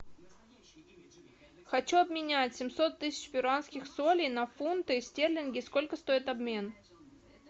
хочу обменять семьсот тысяч перуанских солей на фунты стерлинги сколько стоит обмен